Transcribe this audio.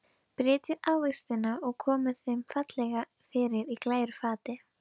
Brytjið ávextina og komið þeim fallega fyrir á glæru fati.